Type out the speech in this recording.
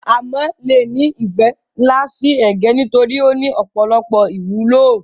áMo le ni ìfẹ́ nlá si ẹ̀gẹ́ nitorí o ni ọ̀pọ̀lọpọ̀ ìwúlò